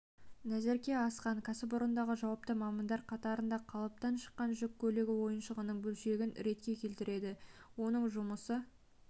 назерке асхан кәсіпорындағы жауапты мамандар қатарында қалыптан шыққан жүк көлігі ойыншығының бөлшегін ретке келтіреді оның жұмысы